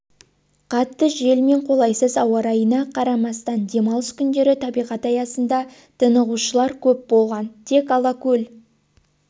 қатты жел мен қолайсыз ауа райына қарамастан демалыс күндері табиғат аясында тынығушылар көп болған тек алакөл